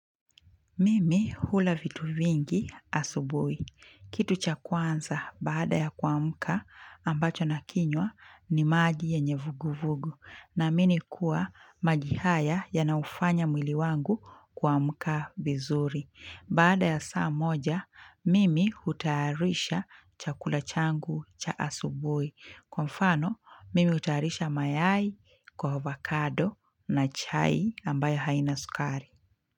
Mimi hula vitu vingi asubuhi. Kitu cha kwanza baada ya kuamka ambacho nakinywa ni maji yenye vuguvugu naamini kuwa maji haya yanaufanya mwili wangu kuamka vizuri. Baada ya saa moja, mimi hutayarisha chakula changu cha asubuhi. Kwa mfano, mimi hutayarisha mayai kwa avocado na chai ambayo haina sukari.